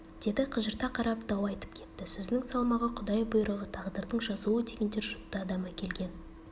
деді қыжырта қарап дау айтып кетті сөзінің салмағы құдай бұйрығы тағдырдың жазуы дегендер жұтты адам әкелген